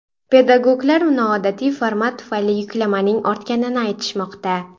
Pedagoglar noodatiy format tufayli yuklamaning ortganini aytishmoqda.